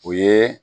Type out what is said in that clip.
O ye